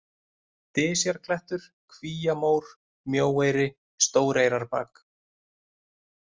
Dysjarklettur, Kvíamór, Mjóeyri, Stóreyrarbak